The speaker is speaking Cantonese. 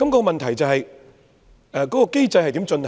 問題是這個機制如何進行？